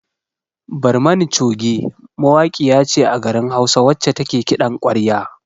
"Barmani choge" mawaƙiya ce a garin hausa wacce take kiɗan kwarya.